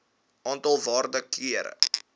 aantal waarde kere